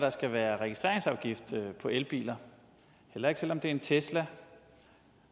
der skal være registreringsafgift på elbiler heller ikke selv om det er en tesla